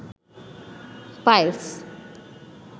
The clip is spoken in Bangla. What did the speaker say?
পাইলস